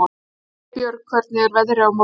Vébjörg, hvernig er veðrið á morgun?